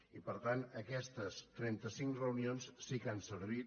i per tant aquestes trenta cinc reunions sí que han servit